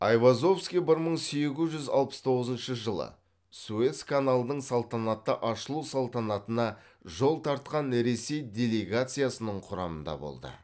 айвазовский бір мың сегіз жүз алпыс тоғызыншы жылы суэц каналының салтанатты ашылу салтанатына жол тартқан ресей делегациясының құрамында болды